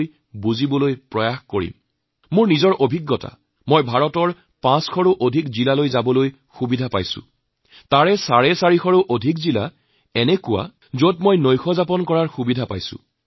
আমিও যি পাৰো আমাৰ দেশৰ ভিন ভিন ৰাজ্যৰ ভিন ভিন সমাজৰ বা গোষ্ঠীৰ নিয়মকানুন পৰম্পৰা তেওঁলোকৰ সাজপাৰ পোছাক পৰিচ্ছদ খাদ্যাভাস সন্দৰ্ভত এজন শিক্ষাৰ্থীৰ দৰে শিকিবলৈ বুজিবলৈ তেওঁলোকৰ জীৱনচৰ্যা আয়ত্ত কৰিছোঁ